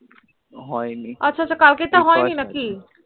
হয়নি আছা আছা কাল কের টা হয়নি নাকি